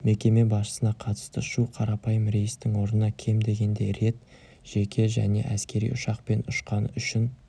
мекеме басшысына қатысты шу қарапайым рейстің орнына кем дегенде рет жеке және әскери ұшақпен ұшқаны үшін